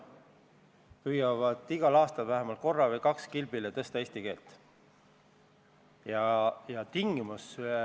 Me teame, et riik doteerib, see tähendaks lõpptulemusena ka dotatsioonide suurendamist.